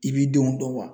I b'i denw dɔn wa